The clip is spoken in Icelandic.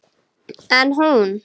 En hún.